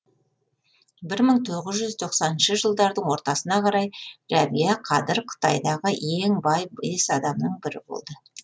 бір мың тоғыз жүз тоқсаныншы жылдардың ортасына қарай рәбия қадыр қытайдағы ең бай бес адамның бірі болды